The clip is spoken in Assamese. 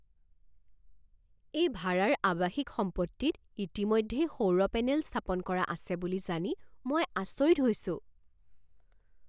এই ভাৰাৰ আৱাসিক সম্পত্তিত ইতিমধ্যেই সৌৰ পেনেল স্থাপন কৰা আছে বুলি জানি মই আচৰিত হৈছো।